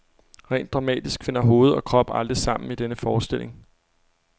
Rent dramatisk finder hoved og krop aldrig sammen i denne forestilling.